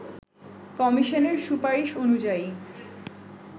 কমিশনের সুপারিশ অনুযায়ী